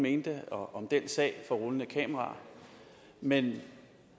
mente om den sag for rullende kameraer men når